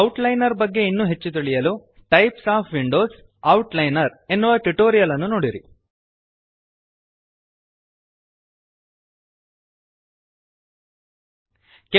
outliner ಬಗ್ಗೆ ಇನ್ನೂ ಹೆಚ್ಚು ತಿಳಿಯಲು types of windows - outliner types of windows outliner ಎನ್ನುವ ಟ್ಯುಟೋರಿಯಲ್ ನೋಡಿರಿ